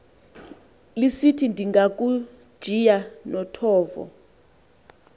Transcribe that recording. lisithi ndingakujiya nothovo